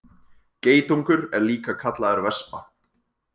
Geitungur er líka kallaður vespa.